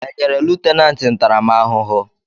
Enyere lutenanti ntaramahụhụ?